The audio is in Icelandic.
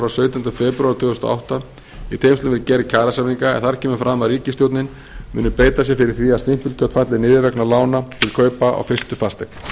sautjándu febrúar tvö þúsund og átta í tengslum við gerð kjarasamninga en þar kemur fram að ríkisstjórnin muni beita sér fyrir því að stimpilgjöld falli niður vegna lána til kaupa á fyrstu fasteign